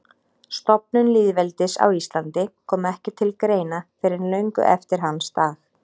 Stofnun lýðveldis á Íslandi kom ekki til greina fyrr en löngu eftir hans dag.